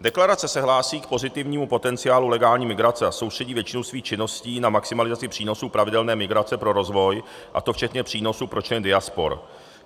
Deklarace se hlásí k pozitivnímu potenciálu legální migrace a soustředí většinu svých činností na maximalizaci přínosů pravidelné migrace pro rozvoj, a to včetně přínosu pro členy diaspor;